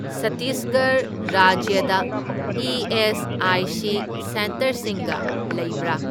ꯁꯠꯇꯤꯁꯒꯔꯍ ꯔꯥꯖ꯭ꯌꯗ ꯏ.ꯑꯦꯁ.ꯑꯥꯏ.ꯁꯤ. ꯁꯦꯟꯇꯔꯁꯤꯡꯒ ꯂꯩꯕ꯭ꯔꯥ?